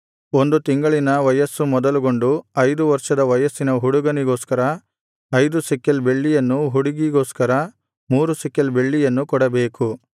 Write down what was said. ಒಂದು ತಿಂಗಳಿನ ವಯಸ್ಸು ಮೊದಲುಗೊಂಡು ಐದು ವರ್ಷದ ವಯಸ್ಸಿನ ಹುಡುಗನಿಗೋಸ್ಕರ ಐದು ಶೆಕೆಲ್ ಬೆಳ್ಳಿಯನ್ನು ಹುಡುಗಿಗೋಸ್ಕರ ಮೂರು ಶೆಕೆಲ್ ಬೆಳ್ಳಿಯನ್ನು ಕೊಡಬೇಕು